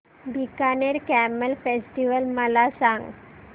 Bikaner camel festival मला सांग